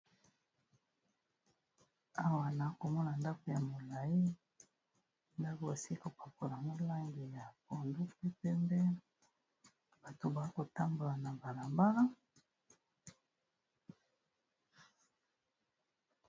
Awa naakomona ndako ya molai ndako osi kopapola molange ya konduktu pembe, bato baa kotambola na mbala-mbala.